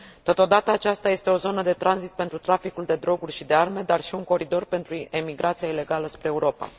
Totodată, aceasta este o zonă de tranzit pentru traficul de droguri și de arme, dar și un coridor pentru emigrația ilegală spre Europa.